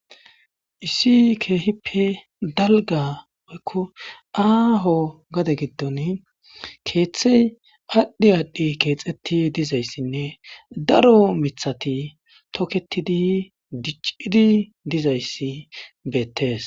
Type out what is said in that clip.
Issi kehippe daliga woyikko aho gaade giddonni keththe adhdhi adhdhi kexetti dizayissanne daro miththata tokettiddi dicciddi dizayisi bettes.